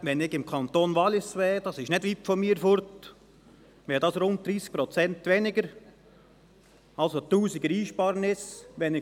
Wenn ich im Kanton Wallis wäre, der nicht weit weg von mir ist, wären es rund 30 Prozent weniger, das heisst eine Einsparung eines Tausenders.